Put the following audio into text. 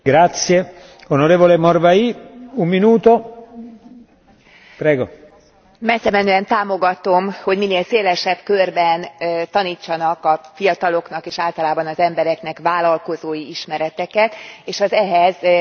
Messzemenően támogatom, hogy minél szélesebb körben tanítsanak a fiataloknak és általában az embereknek vállalkozói ismereteket és az ehhez szükséges és egyébként is szükséges pénzügyi ismereteket.